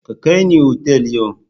Ka kai ni otal yau!